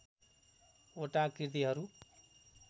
वटा कृतिहरू